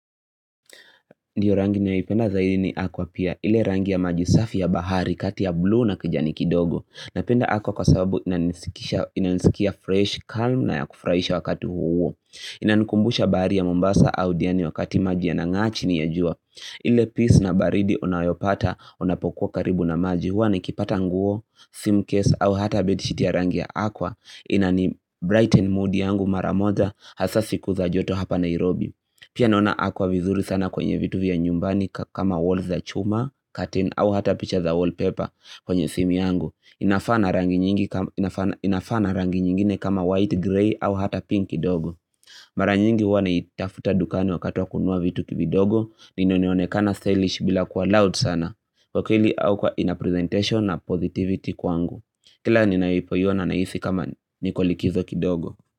Ndiyo rangi naipenda zaidi ni aquapia. Ile rangi ya maji safi ya bahari kati ya blue na kijani kidogo. Napenda aqua kwa sababu inanisikia fresh, calm na ya kufurahisha wakati huu. Inanikumbusha bahari ya mombasa au diani wakati maji yanang'a chini ya jua. Ile peace na baridi unayopata unapokuwa karibu na maji hua ni kipata nguo, sim case au hata bedi shiti ya rangi ya aqua. Inani brightened mood yangu maramoja haswa siku za joto hapa Nairobi. Pia naona aqua vizuri sana kwenye vitu vya nyumbani kama walls za chuma, curtain au hata picture za wallpaper kwenye simu yangu. Inafanana rangi nyingine kama white grey au hata pink kidogo. Mara nyingi huwa na itafuta dukani wakati wa kunua vitu kidogo ni inoneonekana stylish bila kuwa loud sana. Kwa akili au kwa inapresentation na positivity kwangu. Kila ninapoiona nahisi kama nikolikizo kidogo.